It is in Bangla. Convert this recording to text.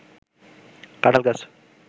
কাঠাল গাছ